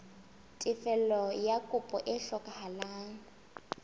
tefello ya kopo e hlokehang